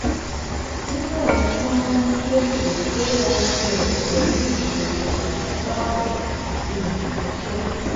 gmex tun n pese altx pẹlu iṣowo paṣipaarọ ati imọran iṣẹ